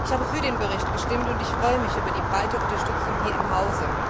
Ich habe für den Bericht gestimmt, und ich freue mich über die breite Unterstützung hier im Haus.